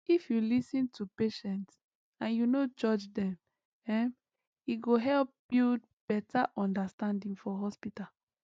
if you lis ten to patient and you no judge dem ehm e go help build better understanding for hospital